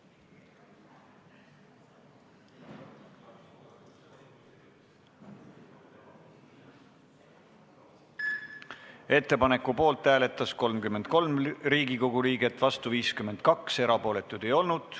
Hääletustulemused Ettepaneku poolt hääletas 33 Riigikogu liiget, vastu 52, erapooletuid ei olnud.